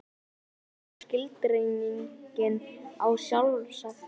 Hver er aftur skilgreiningin á sjálfsagt?